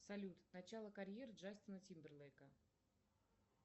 салют начало карьеры джастина тимберлейка